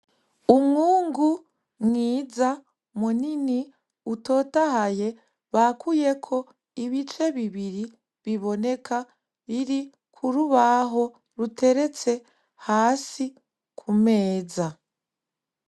Umwungu mwiza munini utotahaye bakuyeko ibice bibiri biboneka kurubaho ruteretse hasi ku meza.